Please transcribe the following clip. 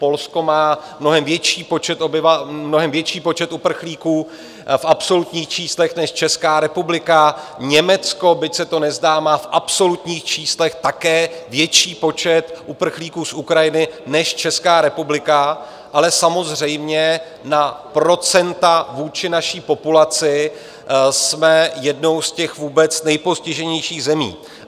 Polsko má mnohem větší počet uprchlíků v absolutních číslech než Česká republika, Německo, byť se to nezdá, má v absolutních číslech také větší počet uprchlíků z Ukrajiny než Česká republika, ale samozřejmě na procenta vůči naší populaci jsme jednou z těch vůbec nejpostiženějších zemí.